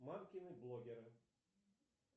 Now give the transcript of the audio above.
мамкины блогеры